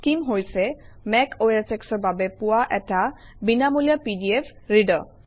scheme হৈছে Mac OSX ৰ বাবে পোৱা এটা বিনামূলীয়া পিডিএফ ৰিডাৰ